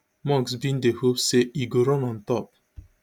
musk bin dey hope say e go run on top